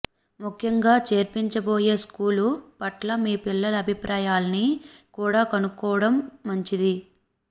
ముఖ్యంగా చేర్పించబోయే స్కూలు పట్ల మీ పిల్లల అభిప్రాయాల్ని కూడా కనుక్కోవడం మం చిది